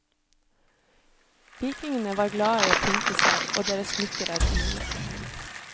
Vikingene var glade i å pynte seg, og deres smykker er fine.